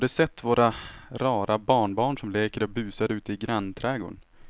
Har du sett våra rara barnbarn som leker och busar ute i grannträdgården!